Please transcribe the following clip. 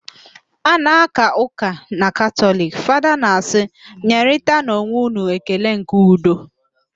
A na-aka ụka na katọliki, Fada na-asị, "nyerịtanụ onwe ụnụ ekele nke udo"